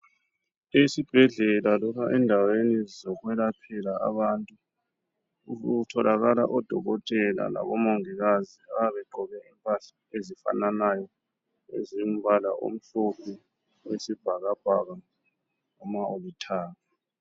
Esibhedlela loba endaweni zokwelaphela abantu, kutholakala odokotela labo mongikazi abayabe begqoke impahla ezifanayo ezombala omhlophe, oyisibhakabhaka noma olithanga.